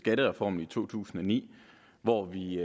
skattereformen i to tusind og ni hvor vi